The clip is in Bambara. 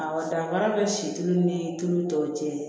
Awɔ danfara bɛ si tulu ni tulu tɔw cɛ